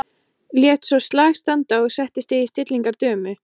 Lét svo slag standa og setti sig í stellingar dömu.